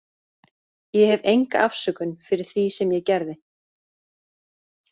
Ég hef enga afsökun fyrir því sem ég gerði.